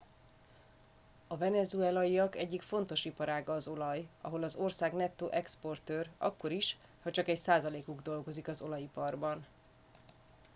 a venezuelaiak egyik fontos iparága az olaj ahol az ország nettó exportőr akkor is ha csak egy százalékuk dolgozik az olajiparban